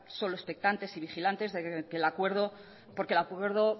solo expectantes y vigilantes porque el acuerdo